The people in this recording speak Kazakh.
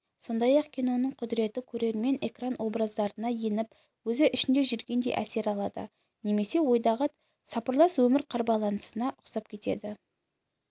сондай-ақ киноның құдіреті көрермен экран образдарына еніп өзі ішінде жүргендей әсер алады немесе ойдағы сапырылыс өмір қарбаласына ұқсап кетеді